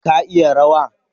Ka iya rawa?